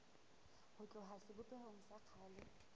ho tloha sebopehong sa kgale